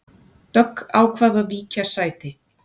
Dögg ákvað að víkja sæti